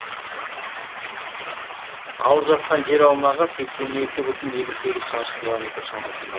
алып жатқан жер аумағы сексен екі бүтін елу сегіз шаршы километр шамасында